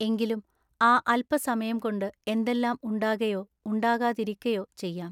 എങ്കിലും ആ അല്പ സമയം കൊണ്ടു എന്തെല്ലാം ഉണ്ടാകയൊ ഉണ്ടാകാതിരിക്ക യൊ ചെയ്യാം.